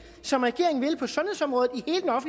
som regeringen vil på sundhedsområdet